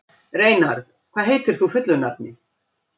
Reynarð, hvað heitir þú fullu nafni?